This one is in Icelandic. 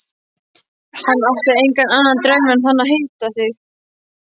Hann átti engan annan draum en þann að hitta þig.